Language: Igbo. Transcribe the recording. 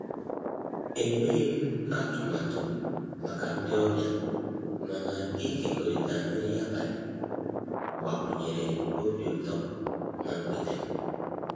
E nweghịm atụmatụ maka ndị ọbịa, mana ịkekọrịta nri abalị gbakwunyere obi utọ na mgbede m.